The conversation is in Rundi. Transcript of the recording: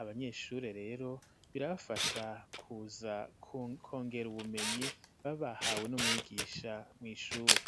abanyeshure rero birabafasha kuza kongera ubumenyi babahawe n'umwigisha mw'ishure.